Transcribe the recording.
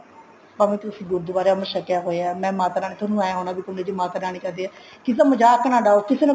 ਭਾਵੇਂ ਤੁਸੀਂ ਗੁਰਦੁਵਾਰੇ ਅਮ੍ਰਿਤ ਛਕਿਆ ਹੋਇਆ ਮੈਂ ਮਾਤਾ ਰਾਣੀ ਤੁਹਾਨੂੰ ਏ ਹੋਣਾ ਵੀ ਮਾਤਾ ਰਾਣੀ ਕਰਦੀ ਹੈ ਕਿਸੇ ਦਾ ਮਜ਼ਾਕ ਨਾ ਡਾਉ ਕਿਸੇ ਨੂੰ